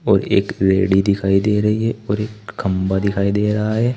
और एक लेडी दिखाई दे रही है और एक खंबा दिखाई दे रहा है।